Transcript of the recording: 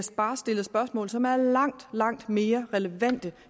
bare stillet spørgsmål som er langt langt mere relevante